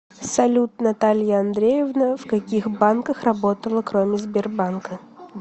салют наталья андреевна в каких банках работала кроме сбербанка